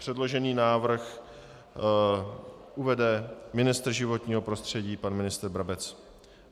Předložený návrh uvede ministr životního prostředí pan ministr Brabec.